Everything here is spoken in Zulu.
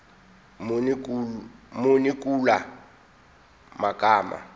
muni kula magama